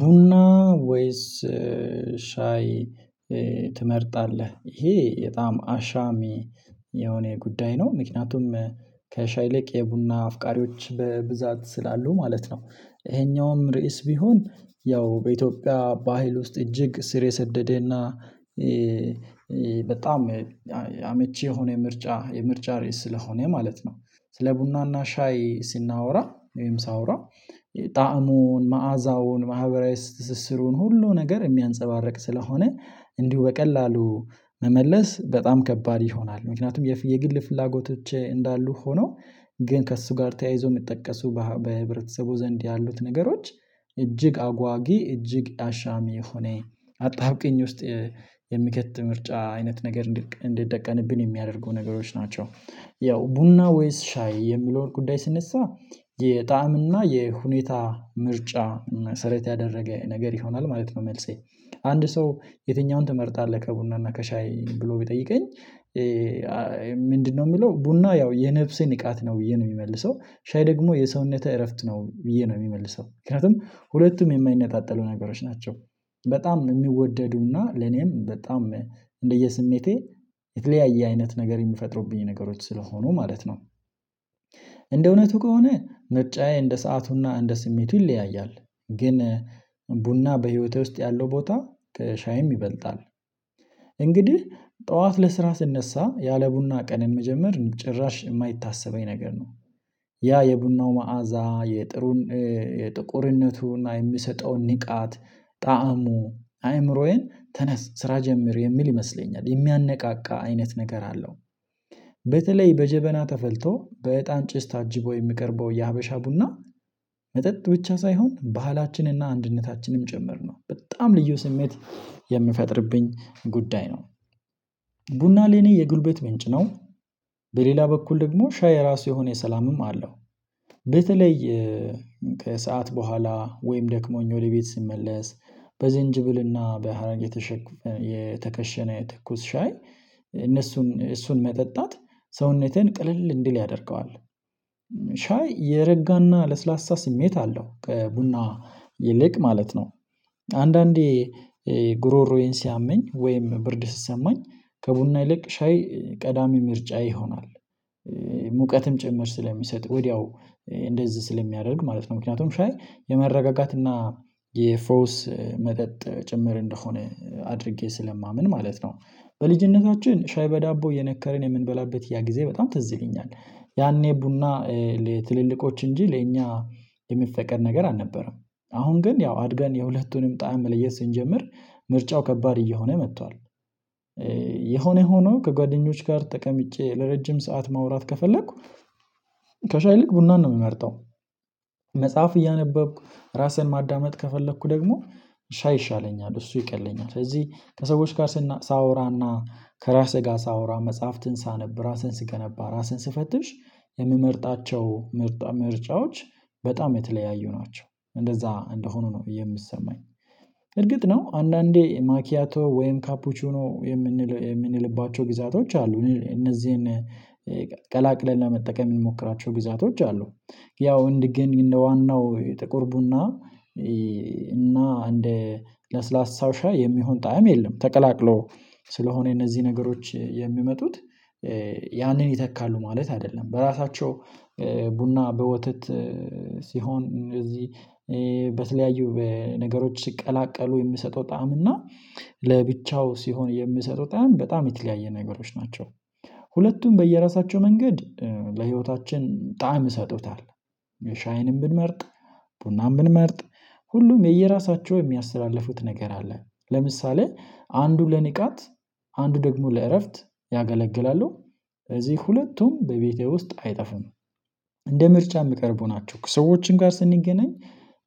ቡና ወይስ ሻይ ትመርጣለህ? ይሄ የጣም አሻሚ የሆነ ጉዳይ ነው ምክንያቱም ከሻይ ይልቅ የቡና አፍቃሪዎች በብዛት ስላሉ ማለት ነው። ይሄኛውም ርዕስ ቢሆን ያው በኢትዮጵያ ባህል ውስጥ እጅግ ስር የሰደደና በጣም አመቺ የሆነ የምርጫ የምርጫ ርዕስ ስለሆነ ማለት ነው። ስለ ቡናና ሻይ ስናወራ ወይም ሳወራ ጣዕሙን መዓዛውን ማህበራዊ ትስስሩን ሁሉ ነገር የሚያንፀባርቅ ስለሆነ እንዲሁ በቀላሉ መመለስ በጣም ከባድ ይሆናል ምክንያቱም የግል ፍላጎቶች እንዳሉ ሆነው ግን ከእሱ ጋር ተያይዞ የሚጠቀሱ በህብረተሰቡ ዘንድ ያሉት ነገሮች እጅግ አጓጊ እጅግ አሻሚ የሆነ አጣብቂኝ ውስጥ የሚከት ምርጫ አይነት ነገር እንድትጠቀንብን የሚያደርጉ ነገሮች ናቸው። ያው ቡና ወይስ ሻይ የሚለውን ጉዳይ ስነሳ የጣዕም እና የሁኔታ ምርጫ መሰረት ያደረገ ነገር ይሆናል ማለት ነው። መልሴ አንድ ሰው የትኛውን ትመርጣለህ? ከቡና እና ከሻይ ብሎ ቢጠይቀኝ ምንድነው የሚለው ቡና ያው የነፍሴ ንቃት ነው ብዬ ነው የሚመልሰው ሻይ ደግሞ የሰውነተ እረፍት ነው ብዬ ነው የሚመልሰው ምክንያቱም ሁለቱም የማይነጣጠሉ ነገሮች ናቸው። በጣም የሚወደዱና ለኔም በጣም እንደየስሜቴ የተለያየ አይነት ነገር የምፈጥሩብኝ ነገሮች ስለሆኑ ማለት ነው። እንደ እውነቱ ከሆነ ምርጫዬ እንደ ሰአቱና እንደ ስሜቱ ይለያያል። ግን ቡና በህይወቴ ውስጥ ያለው ቦታ ከሻይም ይበልጣል። እንግዲህ ጠዋት ለስራ ስነሳ ያለ ቡና ቀንን መጀመር ጭራሽ የማይታሰበኝ ነገር ነው። ያ የቡናው መዓዛ የጥቁርነቱን እና የሚሰጠውን ንቃት ጣዕሙ አይምሮዬን ተነስ ስራ ጀምሮ የሚል ይመስለኛል የሚያነቃቃ አይነት ነገር አለው። በተለይ በጀበና ተፈልቶ በእጣን ጭስ ታጅቦ የሚቀርበው የሀበሻ ቡና መጠጥ ብቻ ሳይሆን ባህላችንና አንድነታችንም ጭምር ነው በጣም ልዩ ስሜት የምፈጥርብኝ ጉዳይ ነው። ቡና ለኔ የጉልበት ምንጭ ነው። በሌላ በኩል ደግሞ ሻይ ራሱ የሆነ የሰላምም አለው በተለይ ከሰአት በኋላ ወይም ደክሞኝ ወደ ቤት ስመለስ በዝንጅብልና በሀረግ የተኩስ ሻይ እነሱን እሱን መጠጣት ሰውነቴን ቅልል እንዲል ያደርገዋል። ሻይ የረጋና ለስላሳ ስሜት አለው ቡና ይልቅ ማለት ነው። አንዳንዴ ጉሮሮዬን ሲያመኝ ወይም ብርድ ስሰማኝ ከቡና ይልቅ ሻይ ቀዳሚ ምርጫ ይሆናል። ሙቀትም ጭምር ስለሚሰጥ ወዲያው እንደዚህ ስለሚያደርግ ማለት ነው ምክንያቱም ሻይ የመረጋጋት እና የፍሮውስ መጠጥ ጭምር እንደሆነ አድርጌ ስለማምን ማለት ነው። በልጅነታችን ሻይ በዳቦ የነከረን የምንበላበት ያ ጊዜ በጣም ትዝልኛል ያኔ ቡና ትልልቆች እንጂ ለእኛ የሚፈቀድ ነገር አልነበረም። አሁን ግን ያው አድገን የሁለቱንም ጣዕም መለየት ስንጀምር ምርጫው ከባድ እየሆነ መጥቷል። የሆነ ሆኖ ከጓደኞች ጋር ተቀምጬ ለረጅም ሰዓት ማውራት ከፈለኩ ከሻይ ልክ ቡናን ነው የምመርጠው። መጽሐፍ እያነበብኩ ራስህን ማዳመጥ ከፈለኩ ደግሞ ሻይ ይሻለኛል እሱ ይቀለኛል ስለዚህ ከሰዎች ጋር ሳወራና ከራስህ ጋር ሳወራ መጽሐፍትን ሳነብ ራስህን ስገነባ ራስህን ስፈትሽ የምመርጣቸው ምርጫዎች በጣም የተለያዩ ናቸው እንደዛ እንደሆኑ ነው የሚሰማኝ። እርግጥ ነው አንዳንዴ ማኪያቶ ወይም ካፑቹ ነው የምንል የምንልባቸው ግዛቶች አሉ እነዚህን ቀላቅለን ለመጠቀም የሚሞክራቸው ግዛቶች አሉ። ያው እንዲህ ግን እንደ ዋናው ጥቁር ቡና እና እንደ ለስላሳው ሻይ የሚሆን ጣዕም የለም። ተቀላቅሎ ስለሆነ እነዚህ ነገሮች የሚመጡት ያንን ይተካሉ ማለት አይደለም። በራሳቸው ቡና በወተት ሲሆን እነዚህ በተለያዩ ነገሮች ሲቀላቀሉ የምሰጠው ጣዕም እና ለብቻው ሲሆን የምሰጠው ጣዕም በጣም የተለያየ ነገሮች ናቸው። ሁለቱም በየራሳቸው መንገድ ለህይወታችን ጣዕም እሰጡታል። ሻይንም ብንመርጥ ቡናን ብንመርጥ ሁሉም የየራሳቸው የሚያስተላልፉት ነገር አለ ለምሳሌ አንዱ ለንቃት አንዱ ደግሞ ለእረፍት ያገለግላሉ። በዚህ ሁለቱም በቤቴ ውስጥ አይጠፉም። እንደ ምርጫ የምቀርቡ ናቸው ሰዎችን ጋር ስንገናኝ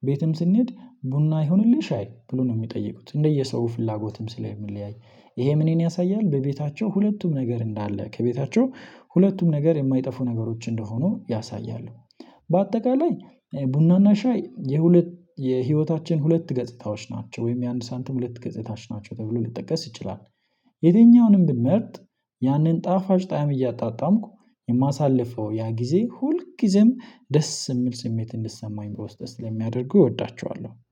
ቤትም ስንሄድ ቡና ይሁንልሽ አይ ብሎ ነው የሚጠይቁት? እንደየሰው ፍላጎትም ስለምንለያይ ይሄ ምን ያሳያል በቤታቸው ሁለቱም ነገር እንዳለ ከቤታቸው ሁለቱም ነገር የማይጠፉ ነገሮች እንደሆኑ ያሳያሉ። በአጠቃላይ ቡናና ሻይ የሁለት የህይወታችን ሁለት ገጽታዎች ናቸው ወይም የአንድ ሳንቲም ሁለት ገጽታዎች ናቸው ተብሎ ልጠቀስ ይችላል። የትኛውንም ብንመርጥ ያንን ጣፋጭ ጣዕም እያጣጣምኩ የማሳልፈው ያ ጊዜ ሁልጊዜም ደስ የሚል ስሜት እንድትሰማኝ በውስጤ ስለሚያደርጉ እወዳቸዋለሁ